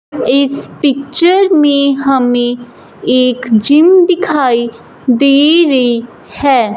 इस पिक्चर में हमें एक जिम दिखाई दे रही है।